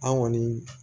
An kɔni